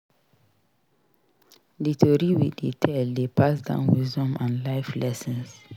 Di tori we dey tell dey pass down wisdom and life lessons.